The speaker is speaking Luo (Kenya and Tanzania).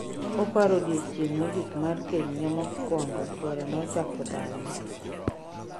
Oparo odiochieng' mogik mar kenyne mokuongo chuore nochako dhaone